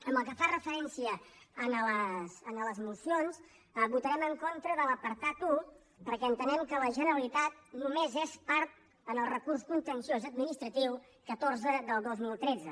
pel que fa referència a les mocions votarem en contra de l’apartat un perquè entenem que la generalitat només és part en el recurs contenciós administratiu catorze del dos mil tretze